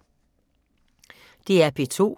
DR P2